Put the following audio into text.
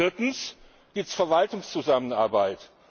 Viertens Die Verwaltungszusammenarbeit.